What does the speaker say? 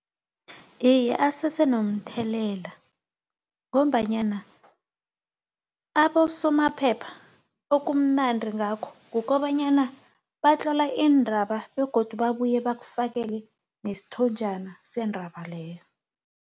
Iye, asese nomthelela, ngombanyana abosomaphepha, okumnandri ngakho kukobanyana batlola iindraba, begodu babuye bakufakele nesithonjana sendaba leyo.